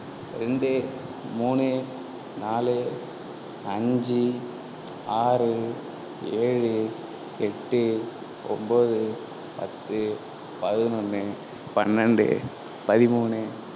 இரண்டு, மூன்று, நான்கு, ஐந்து, ஆறு, ஏழு, எட்டு, ஒன்பது, பத்து, பதினொன்று, பன்னிரண்டு, பதிமூன்று